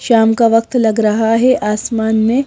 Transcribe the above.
शाम का वक्त लग रहा है आसमान में।